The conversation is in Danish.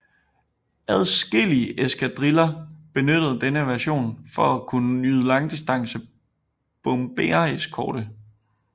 Adskillige eskadriller benyttede denne version for at kunne yde langdistance bombereskorte